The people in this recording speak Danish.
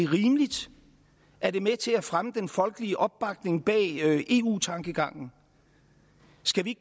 rimeligt er det med til at fremme den folkelige opbakning bag eu tankegangen skal vi